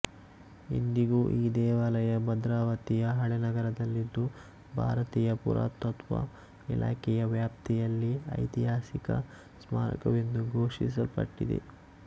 ಇಂದಿಗೂ ಈ ದೇವಾಲಯ ಭದ್ರಾವತಿಯ ಹಳೇನಗರದಲ್ಲಿದ್ದು ಭಾರತೀಯ ಪುರಾತತ್ವ ಇಲಾಖೆಯ ವ್ಯಾಪ್ತಿಯಲ್ಲಿ ಐತಿಹಾಸಿಕ ಸ್ಮಾರಕವೆಂದು ಘೋಷಿಸಲ್ಪಟ್ಟಿದೆ